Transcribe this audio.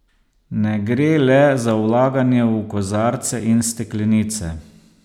Ne gre le za vlaganje v kozarce in steklenice.